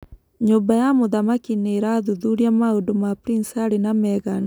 Nyumba ya mũthamaki nĩira thuthuria maũundu ma Prince Harry na Meghan